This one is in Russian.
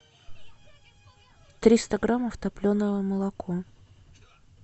триста граммов топленое молоко